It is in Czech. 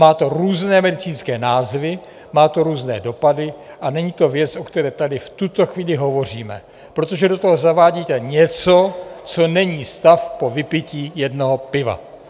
Má to různé medicínské názvy, má to různé dopady a není to věc, o které tady v tuto chvíli hovoříme, protože do toho zavádíte něco, co není stav po vypití jednoho piva.